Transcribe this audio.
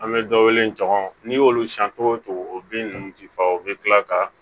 An bɛ dɔ wele jɔn n'i y'olu san cogo o cogo o bin ninnu ti faga u bɛ kila ka